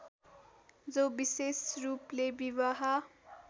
जो विशेषरूपले विवाह